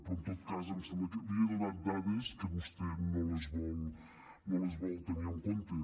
però en tot cas em sembla que li he donat dades que vostè no les vol tenir en compte